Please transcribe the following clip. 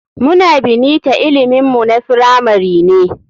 Muna bnita ilimin mu na firamari ne.